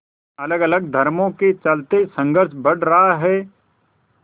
अलगअलग धर्मों के चलते संघर्ष बढ़ रहा है